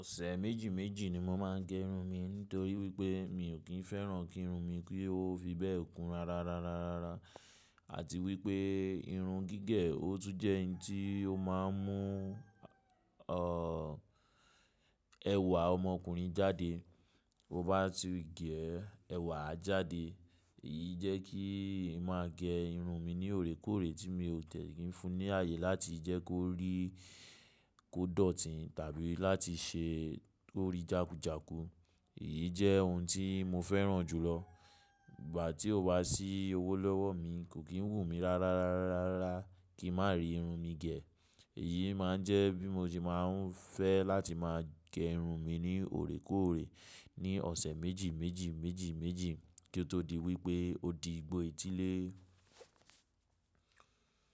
Ọ̀sẹ̀ méjì méjì ni mo máa ń gé irun mi torí wípé mi ò kí ń fẹ́ràn kí irun mi kí ó fi bẹ́ẹ̀ kún rárá rárá rárá rárá àti wípé irun gígẹ̀ ó tún jẹ́ ohun tí ó máa ń mú ọ̀ ẹwà ọmọkùnrin jáde. Ó bá ti gé ẹ, ẹwà á jáde. Èyí jẹ́ kí n máa gé irun mi ní òrékọ́òrẹ́ tí mi ò tẹ̀ kí ń fún ní ààyè láti jẹ́ kó rí kò dọ̀tí tàbí láti ṣe kó rí jákújàku. Èyí jẹ́ ohun tí mo fẹ́ràn jùlọ. Ìgbà tí ó wá sí owó lọ́wọ́ mi kò kí ń wù mí rárá rárá rárá kí n má rí irun mi gẹ̀. Èyí má ń jẹ́ bí mo ṣe má ń fẹ́ láti máa gé irun mi ní òrékọòrẹ́ ní ọ̀sẹ̀ méjì méjì méjì méjì kí ó tó di wípé ó di igbó etílé.